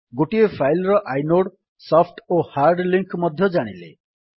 ଗୋଟିଏ ଫାଇଲ୍ ର inode soft ଓ ହାର୍ଡ୍ ଲିଙ୍କ୍ ମଧ୍ୟ ଜାଣିଲେ